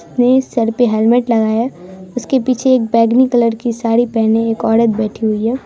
ये सर पे हेलमेट लगाया है उसके पीछे एक बैंगनी कलर की साड़ी पहने एक औरत बैठी हुई है।